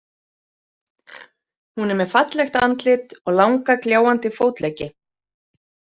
Hún er með fallegt andlit og langa gljáandi fótleggi.